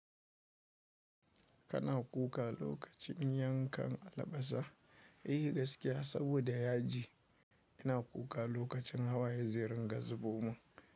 Kana kuka lokacin yankan albasa, eh gaskiya saboda yaji yana kuka lokacin hawaye zai ringa zuboman.